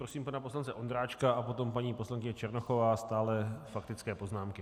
Prosím pana poslance Ondráčka a potom paní poslankyně Černochová, stále faktické poznámky.